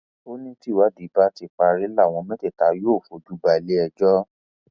ó ní tìwádìí bá ti parí làwọn mẹtẹẹta yóò fojú balẹ ẹjọ